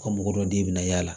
Ka mɔgɔ dɔ d'e bɛ na y'a la